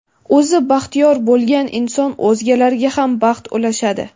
O‘zi baxtiyor bo‘lgan inson o‘zgalarga ham baxt ulashadi.